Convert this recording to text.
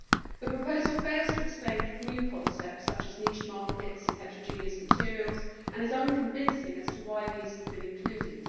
The proposal fails to explain new concepts, such as niche markets and heterogeneous materials, and is unconvincing as to why these have been included.